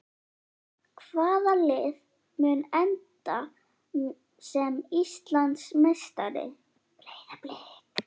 Hvaða lið mun enda sem Íslandsmeistari?